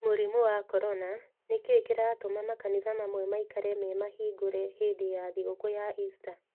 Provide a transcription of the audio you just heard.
Mũrimũ wa Corona: Nĩ kĩĩ kĩratũma makanitha mamwe maikare memahingũre hĩndĩ ya thigũkũ ya ista?